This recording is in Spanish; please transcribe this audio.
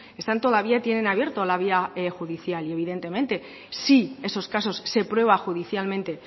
están todavía tienen abierto la vía judicial y evidentemente si esos casos se prueba judicialmente